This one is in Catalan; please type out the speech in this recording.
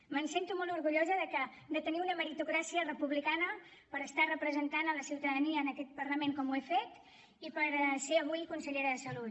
em sento molt orgullosa de tenir una meritocràcia republicana per estar representant la ciutadania en aquest parlament com ho he fet i per ser avui consellera de salut